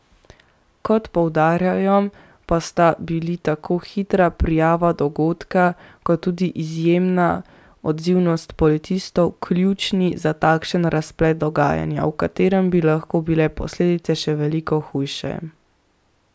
Kot poudarjajo, pa sta bili tako hitra prijava dogodka kot tudi izjemna odzivnost policistov ključni za takšen razplet dogajanja, v katerem bi lahko bile posledice še veliko hujše.